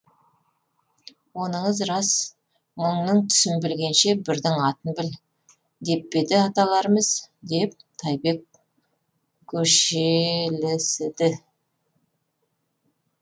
оныңыз рас мыңның түсін білгенше бірдің атын біл деп пе еді аталарымыз деп тайбек көшелісіді